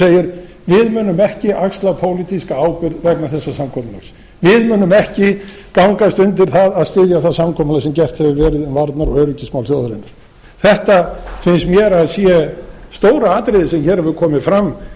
segir við munum ekki axla pólitíska ábyrgð vegna þessa samkomulags við munum ekki gangast undir það að styðja það samkomulag sem gert hefur verið um varnar og öryggismál þjóðarinnar þetta finnst mér að sé stóra atriðið sem hér hefur komið fram